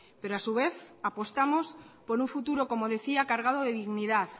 pero a su vez apostamos por un futuro como decía cargado de dignidad